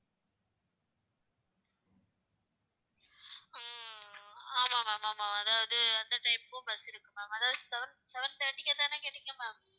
ஹம் ஆமா ma'am ஆமா அதாவது, அந்த time க்கும் bus இருக்கு ma'am அதாவது seven thirty க்கேத்தானே கேட்டீங்க ma'am